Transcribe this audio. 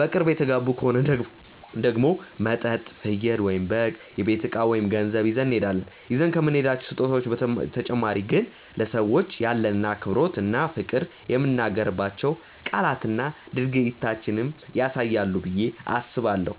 በቅርብ የተጋቡ ከሆኑ ደግሞ መጠጥ፣ ፍየል/በግ፣ የቤት እቃ ወይም ገንዘብ ይዘን እንሄዳለን። ይዘን ከምንሄዳቸው ስጦታዎች በተጨማሪ ግን ለሰዎቹ ያለንን አክብሮት እና ፍቅር የምንናገራቸው ቃላትና ድርጊታችንም ያሳያሉ ብዬ አስባለሁ።